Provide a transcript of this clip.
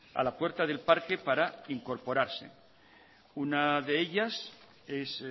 a la puerta del parque para incorporarse una de ellas es